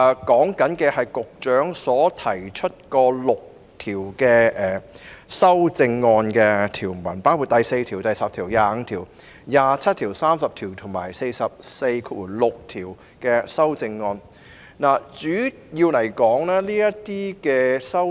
局長提出6項修正案，包括對《條例草案》第4條、第10條、第25條、第27條、第30條及第446條提出修正案，主要是行文上的修正。